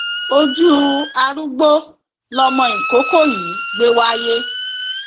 ojú arúgbó lọmọ ìkókó yìí gbé wáyé